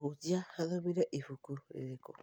Mũhunjia athomire ibuku rĩrĩkũ